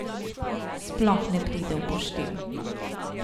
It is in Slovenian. Sploh ne pride v poštev.